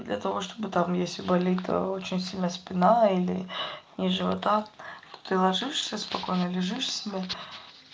для того чтобы там если болит очень сильно спина или низ живота то ты ложишься спокойно лежишь себе